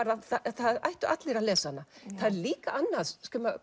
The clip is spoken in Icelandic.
það ættu allir að lesa hana það er líka annað